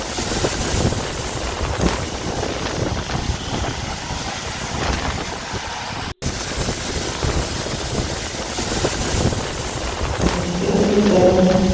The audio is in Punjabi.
ਉੱਠ ਕੇ ਤੇ ਪੋਚਾ ਲਾਓ